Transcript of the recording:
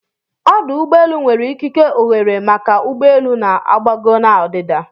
Ọ́dù ụ́gbọ́elụ́ nwere ikike ọ́ghéré maka ụgbọ elu na-agbago na ọdịda